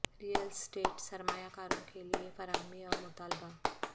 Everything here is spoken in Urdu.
ریل اسٹیٹ سرمایہ کاروں کے لئے فراہمی اور مطالبہ